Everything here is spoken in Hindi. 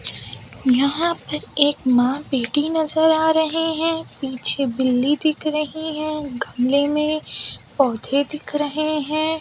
यहां पे एक मां बेटी नजर आ रहे हैं पीछे बिल्ली दिख रही है गमले में पौधे दिख रहे हैं।